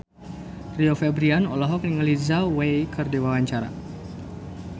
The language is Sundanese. Rio Febrian olohok ningali Zhao Wei keur diwawancara